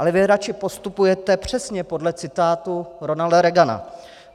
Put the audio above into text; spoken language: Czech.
Ale vy raději postupujete přesně podle citátu Ronalda Reagana.